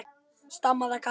stamaði Kata.